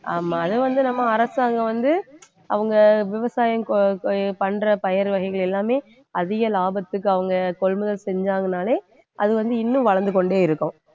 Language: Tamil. ஆமா அதை வந்து நம்ம அரசாங்கம் வந்து அவங்க விவசாயம் கொ~ பண்ற பயிர் வகைகள் எல்லாமே அதிக லாபத்துக்கு அவங்க கொள்முதல் செஞ்சாங்கன்னாலே அது வந்து இன்னும் வளர்ந்து கொண்டே இருக்கும்